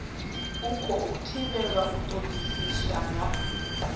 khou thivhelwa u todisisa nga